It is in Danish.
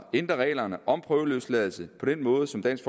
ændre reglerne om prøveløsladelse på den måde som dansk